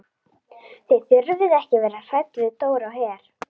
Þið þurfið ekki að vera hrædd við Dóra á Her.